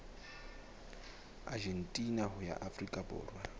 argentina ho ya afrika borwa